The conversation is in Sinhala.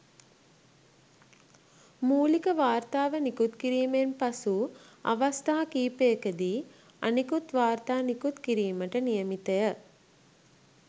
මූලික වාර්තාව නිකුත් කිරීමෙන් පසු අවස්ථා කිහිපයකදී අනෙකුත් වාර්තා නිකුත් කිරීමට නියමිතය.